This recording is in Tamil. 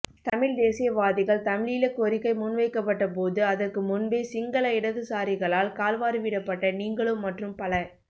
தமிழ் தேசியவாதிகள் தமிழீழக் கோரிக்கை முன்வைக்கப்பட்டபோது அதற்கு முன்பே சிங்கள இடதுசாரிகளால் கால்வாரிவிடப்பட்ட நீங்களும் மற்றும் பல